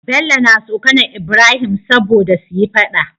Bello na tsokAnar ibrahim sobada suyi faɗa